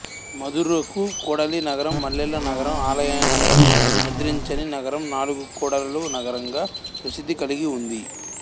మదురకు కూడలి నగరం మల్లెల నగరం ఆలయనగరం నిద్రించని నగరం నాలుగు కూడలుల నగరంగా ప్రసిద్ధి కలిగి ఉంది